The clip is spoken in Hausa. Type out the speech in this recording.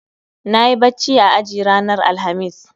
Nayi bacci a aji ranar Alhamis